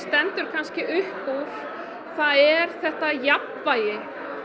stendur kannski upp úr það er þetta jafnvægi í